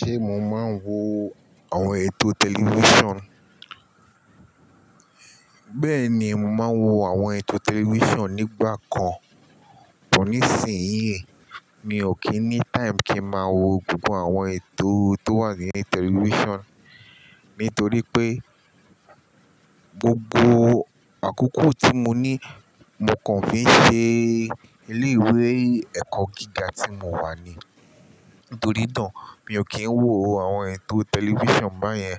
Ṣé mo máa ń wo àwọn ètò tẹlifíṣàn? Bẹ́ẹ̀ni, mo máa ń wo àwọn ètò tẹlifíṣàn nígbà kan, bò ní sì ń yi, mi ò kí ní time kí máa wo gbogbo àwọn ètò tó wà ni tẹlifíṣàn, nítorí pé gbogbo àkókò tí mo ní mo kàn fi ṣe ilé ìwé ẹ̀kọ́ gíga tí mo wà ni. Nítorí náà, mi ò kí ń wo àwọn ètò tẹlifíṣàn báyẹn.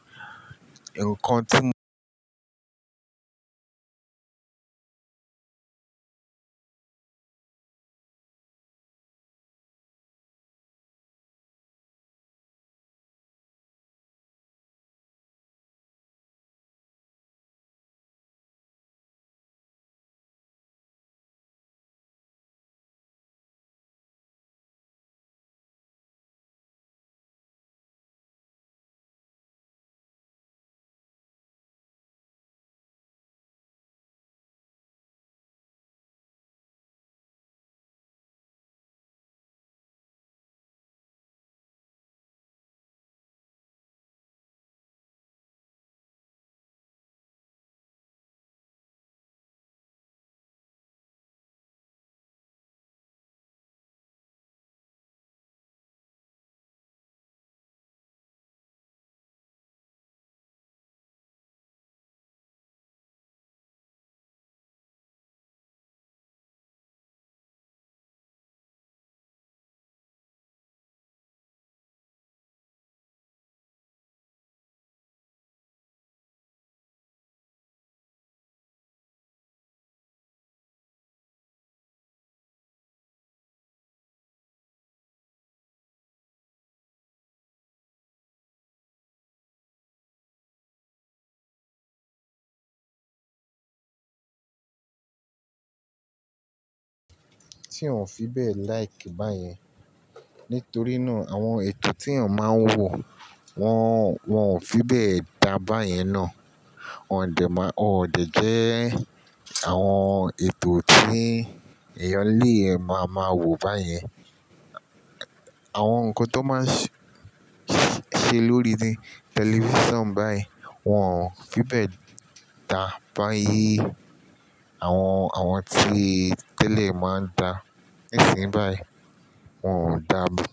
Ǹkan tí ò tí òún fi bẹ́ẹ̀ like báyẹn, nítorí náà àwọn ètò tí èèyàn máa ń wo wọ́n, wọ́n ò fi bẹ́ẹ̀ dá báyẹn ná. Wọ́n ò dè má, wọ́n ò dè jẹ́ àwọn ètò tí èèyàn lè máa máa wò báyẹn. Àwọn ǹkan tó máa sẹ, sẹ lórí ni tẹlifíṣàn báyìí wọ́n ò fi bẹ́ẹ̀ dá báyìí. Àwọn, àwọn tí tẹ́lẹ̀ máa ń dá níìsín báyìí wọ́n ò dá mọ.